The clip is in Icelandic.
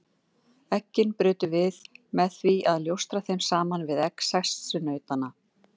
Eggin brutum við með því að ljósta þeim saman við egg sessunautanna.